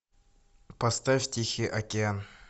поставь тихий океан